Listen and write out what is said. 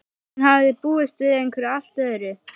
Hún hafði búist við einhverju allt öðru.